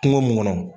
Kungo mun kɔnɔ